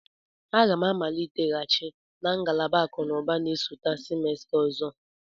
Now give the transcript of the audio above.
M ga-amaliteghachi na ngalaba akụ na ụba na-esote semester ọzọ.